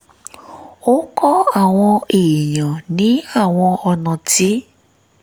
ó kọ́ àwọn èèyàn ní àwọn ọ̀nà tí